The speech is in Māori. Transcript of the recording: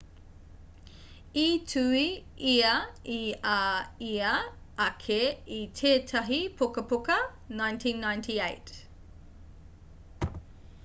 i tuhi ia i a ia ake i tētahi pukapuka 1998